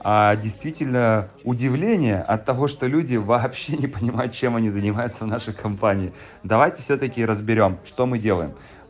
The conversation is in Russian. а действительно удивление от того что люди вообще не понимают чем они занимаются в нашей компании давайте всё-таки разберём что мы делаем